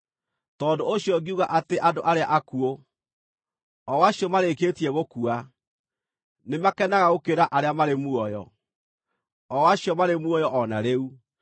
Tondũ ũcio ngiuga atĩ andũ arĩa akuũ, o acio marĩkĩtie gũkua, nĩmakenaga gũkĩra arĩa marĩ muoyo, o acio marĩ muoyo o na rĩu.